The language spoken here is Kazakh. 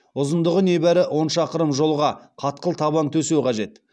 ұзындығы небәрі он шақырым жолға қатқыл табан төсеу қажет